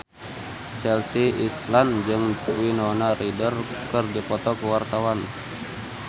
Chelsea Islan jeung Winona Ryder keur dipoto ku wartawan